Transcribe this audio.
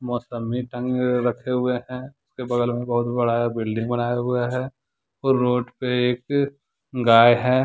मौसमी टंगे हुए रखे हुए हैं उसके बगल में बहुत बड़ा बिल्डिंग बनाया हुए हैं और रोड पे एक गाय है ।